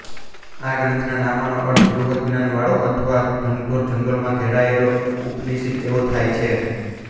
આ ગ્રંથના નામનો અર્થ બૃહદ જ્ઞાન વાળો અથવા ઘનઘોર જંગલમાં લખાયેલો ઉપનિષદ એવો થાય છે